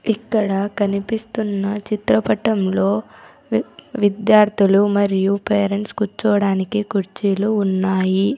ఇక్కడ కనిపిస్తున్న చిత్రపటంలో వి-- విద్యార్థులు మరియు పేరెంట్స్ కూర్చోవడానికి కుర్చీలు ఉన్నాయి.